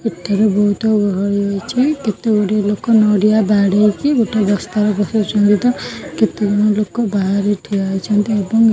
ଏଠାରେ ବହୁତ ଗହଳି ଅଛି କେତେ ଗୋଡ଼ିଏ ଲୋକ ନଡ଼ିଆ ବାଡେଇକି ଗୋଟାଏ ବସ୍ତାରେ ପକଉଛନ୍ତି ତ କେତେଜଣ ଲୋକ ବାହାରେ ଠିଆ ହୋଇଛନ୍ତି ଏବଂ--